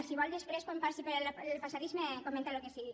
si vol després quan passi pel passadís em comenta el que sigui